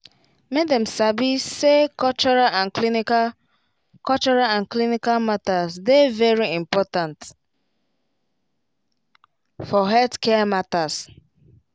make dem sabi say cultural and clinical cultural and clinical matters dey very important for healthcare matters